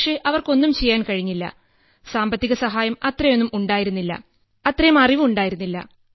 പക്ഷേ അവർക്ക് ഒന്നും ചെയ്യാൻ കഴിഞ്ഞില്ല സാമ്പത്തികസഹായം അത്രയൊന്നും ഉണ്ടായിരുന്നില്ല അത്രയും അറിവുണ്ടായിരുന്നില്ല